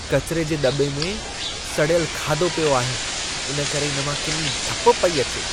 कचिरे जे दॿे में सड़ियल खाधो पियो आहे, इन करे इन मां किनी धप पेई अचे।